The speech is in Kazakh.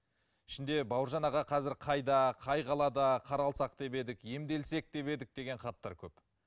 ішінде бауыржан аға қазір қайда қай қалада қаралсақ деп едік емделсек деп едік деген хаттар көп